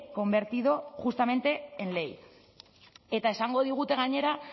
convertido justamente en ley eta esango digute gainera